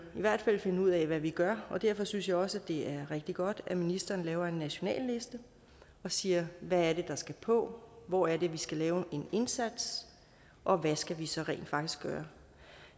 i hvert fald finde ud af hvad vi gør og derfor synes jeg også det er rigtig godt at ministeren laver en national liste og siger hvad er det der skal på hvor er det vi skal lave en indsats og hvad skal vi så rent faktisk gøre